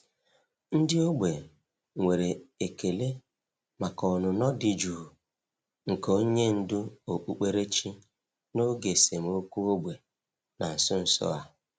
Ndị ógbè nwere ekele maka ọnụnọ dị jụụ nke onye ndú okpukperechi n’oge esemokwu ógbè na nso nso a.